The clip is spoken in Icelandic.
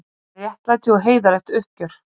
Réttlæti og heiðarlegt uppgjör